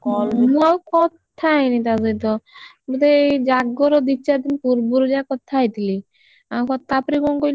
ମୁଁ ଆଉ call ମୁଁ ଆଉ କଥା ହେଇନି ତା ସହିତ ବୋଧେ ଏଇ ଜାଗର ଦି ଚାରି ଦିନ ପୂର୍ବରୁ ଯାହା କଥା ହେଇଥିଲି ଆଙ୍କ ତାପରେ କଣ କହିଲୁ,